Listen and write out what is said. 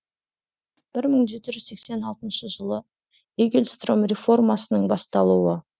бір мың жеті жүз сексен алтыншы жылы игельстром реформасының басталуы